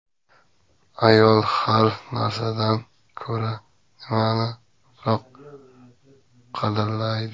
Ayol har narsadan ko‘ra nimani ko‘proq qadrlaydi?